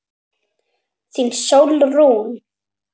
Þín Sólrún.